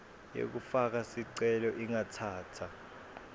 yekufaka sicelo ingatsatsa